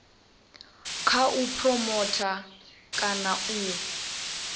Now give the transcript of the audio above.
kha u phuromotha kana u